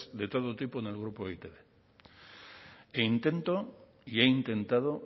de todo tipo en el grupo e i te be e intento y he intentado